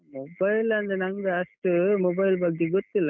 Mobile ಅಂದ್ರೆ ನಂಗೆ ಅಷ್ಟು mobile ಬಗ್ಗೆ ಗೊತ್ತಿಲ್ಲ.